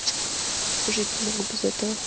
жить не могу без этого